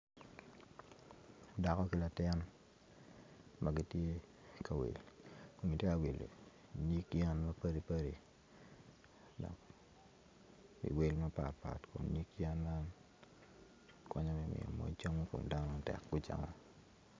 Dako ki latin ma gitye ka wil gitye ka wilo nyig yen mapadi padi iwel mapat pat kun nyig yen man konyo me miyo moc cam i koma dano tek gucamo.